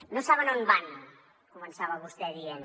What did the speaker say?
no saben on van començava vostè dient